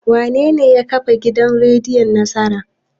Wanene ya kafa gidan rediyon Nasara?